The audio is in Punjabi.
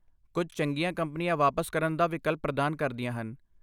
ਕੁੱਝ ਚੰਗੀਆਂ ਕੰਪਨੀਆਂ ਵਾਪਸ ਕਰਨ ਦਾ ਵਿਕਲਪ ਪ੍ਰਦਾਨ ਕਰਦੀਆਂ ਹਨ।